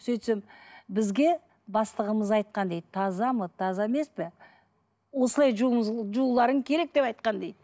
сөйтсем бізге бастығымыз айтқан дейді таза ма таза емес пе осылай жууларың керек деп айтқан дейді